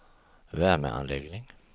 värmeanläggning